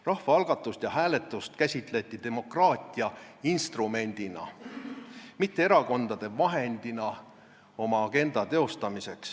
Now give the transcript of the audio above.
" Rahvaalgatust ja -hääletust käsitleti demokraatia instrumendina, mitte erakondade vahendina oma agenda teostamiseks.